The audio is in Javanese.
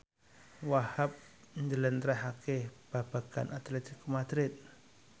Wahhab njlentrehake babagan Atletico Madrid